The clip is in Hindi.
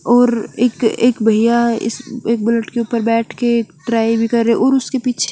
और एक एक भईया इस एक बुलेट के ऊपर बेठ के ड्राइव कर रहे है और उसके पीछे --